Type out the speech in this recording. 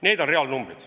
Need on reaalnumbrid.